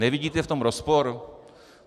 Nevidíte v tom rozpor?